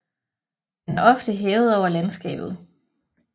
Den er ofte hævet over landskabet